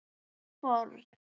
Góð fórn.